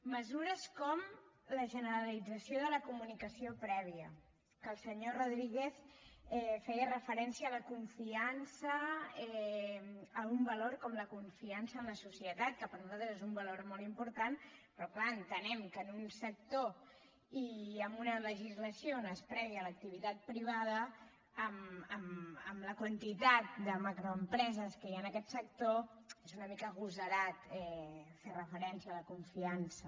mesures com la generalització de la comunicació prèvia que el senyor rodríguez feia referència a la confiança a un valor com la confiança en la societat que per nosaltres és un valor molt important però és clar entenem que en un sector i amb una legislació on es premia l’activitat privada amb la quantitat de macroempreses que hi ha en aquest sector és una mica agosarat fer referència a la confiança